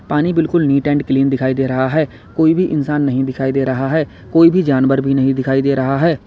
पानी बिल्कुल neat and clean दिखाई दे रहा है कोई भी इंसान नहीं दिखाई दे रहा है कोई भी जानवर भी नहीं दिखाई दे रहा है।